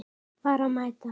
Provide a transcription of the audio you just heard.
Bara mæta.